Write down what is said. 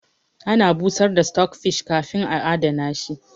Ana busar da stockfish kafin a adana shi